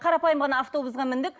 қарапайым ғана автобусға міндік